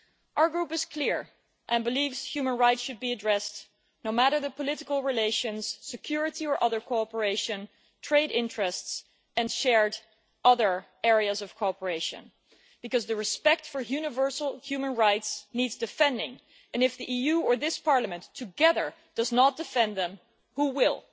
Our group is clear it believes human rights should be addressed, no matter the political relations, trade interests and security or other shared areas of cooperation, because respect for universal human rights needs defending and, if the EU or this Parliament together do not defend them, who will?